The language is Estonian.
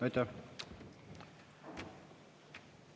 Aitäh!